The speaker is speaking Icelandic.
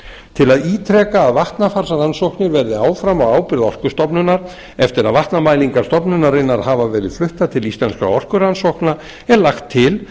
til að ítreka að vatnafarsrannsóknir verði áfram á ábyrgð orkustofnunar eftir að vatnamælingar stofnunarinnar hafa verið fluttar til íslenskra orkurannsókna er lagt til